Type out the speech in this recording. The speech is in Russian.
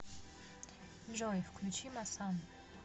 джой включи масан